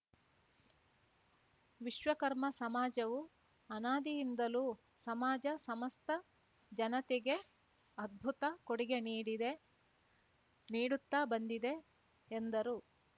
ವಿಶ್ವಕರ್ಮ ಸಮಾಜವು ಅನಾದಿಯಿಂದಲೂ ಸಮಾಜ ಸಮಸ್ತ ಜನತೆಗೆ ಅದ್ಭುತ ಕೊಡುಗೆ ನೀಡಿದೆ ನೀಡುತ್ತಾ ಬಂದಿದೆ ಎಂದರು